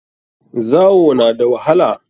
Zawo na da wahala.